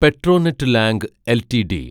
പെട്രോനെറ്റ് ലാംഗ് എൽറ്റിഡി